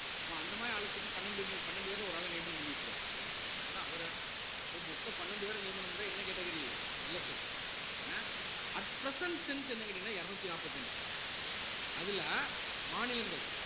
அப்போ அந்த மாதிரி ஆள தூக்கி பன்னெண்டு பன்னெண்டு பேர்ல ஒரு ஆள நியமனம் பண்ணி விட்டுருவாங்க விட்டாங்கனா அவர அப்போ மொத்தம் பன்னெண்டு பேரை நியமனம் பண்றாங்க என்ன categoryLSS ஏன்னா at present strength என்னன்னு கேட்டீங்கன்னா இருநூத்தி நாப்பத்தஞ்சு அதுல மாநிலங்கள்